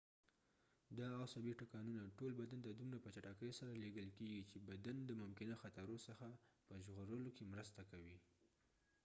دا عصبی ټکانونه ټول بدن ته دومره په چټکې سره لیږل کېږی چې بدن د ممکنه خطرو څخه په ژغورلو کې مرسته کوي